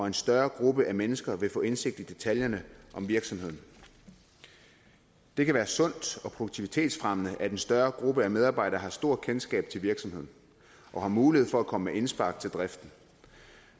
en større gruppe af mennesker vil få indsigt i detaljerne om virksomheden det kan være sundt og produktivitetsfremmende at en større gruppe af medarbejdere har stort kendskab til virksomheden og har mulighed for at komme med indspark til driften